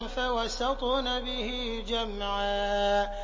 فَوَسَطْنَ بِهِ جَمْعًا